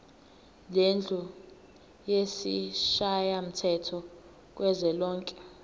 lendlu yesishayamthetho kuzwelonke